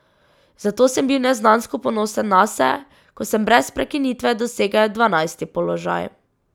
Zato sem bil neznansko ponosen nase, ko sem brez prekinitve dosegel dvanajsti položaj.